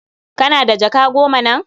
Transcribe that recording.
Kana da jaka goma nan?